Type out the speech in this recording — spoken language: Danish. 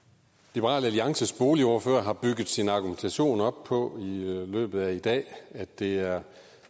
liberal alliances boligordfører har bygget sin argumentation op på løbet af i dag at det er